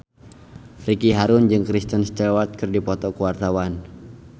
Ricky Harun jeung Kristen Stewart keur dipoto ku wartawan